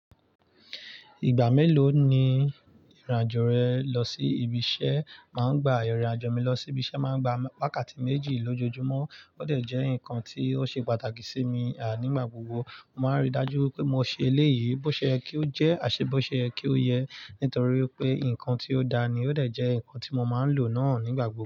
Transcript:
Ìgbà mélòó ni ìrìnàjò rẹ lọ sí ibi iṣẹ́? Màá ń gba ìrìnàjò mi lọ sí ibi iṣẹ́ máa ń gba wákàtí méjì lójoojúmọ́. Ó dẹ̀ jẹ́ nǹkan tí ó ṣe pàtàkì sí mi, à níigbà gbogbo. Mo máa ń rí i dájú pé mo ṣe eléyìí bó ṣe ẹ kí ó jẹ́, àṣẹ bó ṣe ẹ kí ó yẹ, nítorí pé nǹkan tí ó da ni ó dẹ̀ jẹ́ nǹkan tí mo máa ń lò náà nígbà gbogbo.